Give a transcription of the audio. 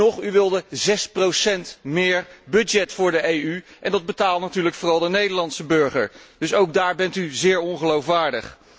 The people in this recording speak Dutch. Weet u nog, u wilde 6 procent meer budget voor de EU en dat betaalt natuurlijk vooral de Nederlandse burger, dus ook daar bent u zeer ongeloofwaardig.